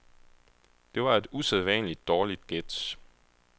Det var et usædvanligt dårligt gæt.